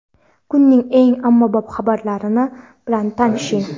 Kunning eng ommabop xabarlari bilan tanishing.